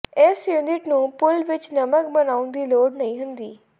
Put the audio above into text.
ਇਸ ਯੂਨਿਟ ਨੂੰ ਪੂਲ ਵਿਚ ਨਮਕ ਬਣਾਉਣ ਦੀ ਲੋੜ ਨਹੀਂ ਹੁੰਦੀ